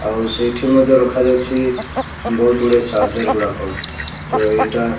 ଆଉ ସେଇଠି ମଧ୍ଯ ରଖାଯାଇଛି ବହୁତ ଗୁଡେ ଚାର୍ଜର ଗୁଡାକ ତ ଏଇଟା।